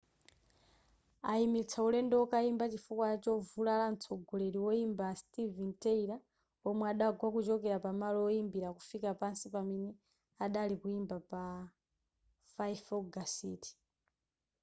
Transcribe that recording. ayimitsa ulendo wokayimba chifukwa chovulala mtsogoleri woyimba a steven tyler omwe adagwa kuchoka pamalo oyimbira kufika pansi pamene adali kuyimba pa 5 ogasiti